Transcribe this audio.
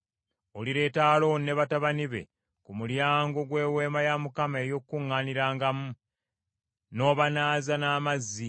“Olireeta Alooni ne batabani be ku mulyango gw’Eweema ey’Okukuŋŋaanirangamu, n’obanaaza n’amazzi,